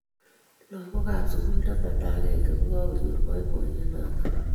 Lagookab sugul taman ak agenge kokanyor boiboiyet notok